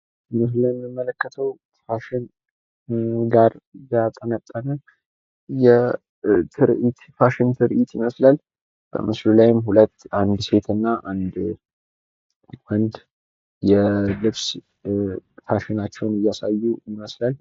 ምስሉ ላይ የምንመለከተው ፋሽን ላይ ያጠነጠነ የፋሽን ትርኢት ይመስላል። በምስሉ ላይ ሁለት አንድ ሴትና አንድ ወንድ የልብስ ፋሽናቸውን እያሳዩ ይመስላል።